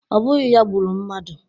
Ọ bụghị ya gburu mmadụ